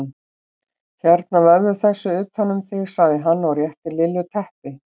Hérna vefðu þessu utan um þig sagði hann og rétti Lillu teppi.